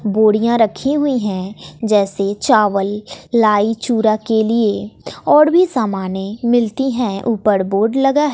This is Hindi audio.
बोरियां रखी हुई हैं जैसे चावल लाई चुरा के लिए और भी सामानें मिलती हैं ऊपर बोर्ड लगा है।